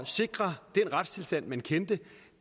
sikre den retstilstand man kendte